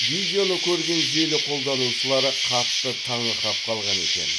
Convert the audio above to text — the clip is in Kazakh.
видеоны көрген желі қолданушылары қатты таңырқап қалған екен